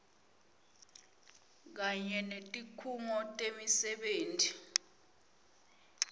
kanye netikhungo temisebenti